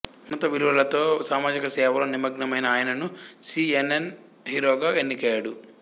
ఉన్నత విలువలతో సామాజిక సేవలో నిమగ్నమైన ఆయనను సీ ఎన్ ఎన్ హీరోగా ఎన్నికయ్యాడు